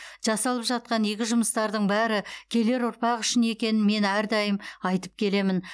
жасалып жатқан игі жұмыстардың бәрі келер ұрпақ үшін екенін мен әрдайым айтып келемін